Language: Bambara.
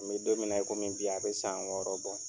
N bɛ don min na komi bi a bɛ san wɔɔrɔ bɔ.